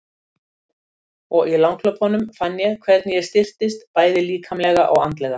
Og í langhlaupunum fann ég hvernig ég styrktist, bæði líkamlega og andlega.